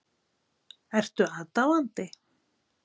Ertu aðdáandi?